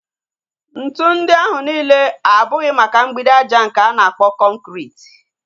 Ntụ ndị ahụ nile abụghị maka mgbidi aja nke a na-akpọ kọnkriti